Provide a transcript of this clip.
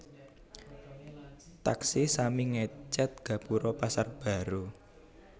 Taksih sami ngecet gapuro Pasar Baru